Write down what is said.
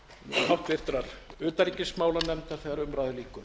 háttvirtrar utanríkismálanefndar þegar umræðu lýkur